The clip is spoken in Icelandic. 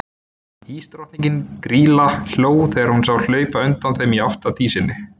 Ísdrottningin, Grýla, hló þegar hún sá þá hlaupa undan þeim í átt að Dísinni.